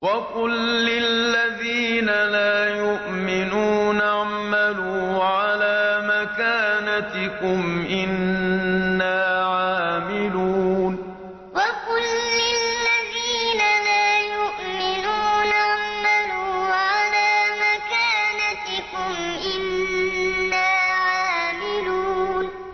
وَقُل لِّلَّذِينَ لَا يُؤْمِنُونَ اعْمَلُوا عَلَىٰ مَكَانَتِكُمْ إِنَّا عَامِلُونَ وَقُل لِّلَّذِينَ لَا يُؤْمِنُونَ اعْمَلُوا عَلَىٰ مَكَانَتِكُمْ إِنَّا عَامِلُونَ